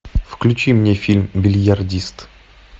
включи мне фильм бильярдист